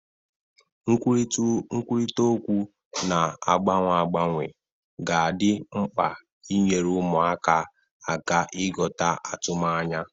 Nkwurịta okwu na-agbanwe agbanwe ga adị mkpa n'inyere ụmụaka aka ịghọta atụmanya.